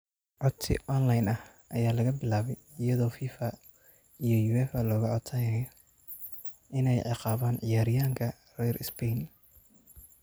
Codsi online ah ayaa laga bilaabay iyadoo Fifa iyo Uefa looga codsanayo inay ciqaabaan ciyaaryahanka reer Spain.